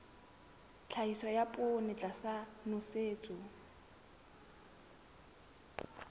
tlhahiso ya poone tlasa nosetso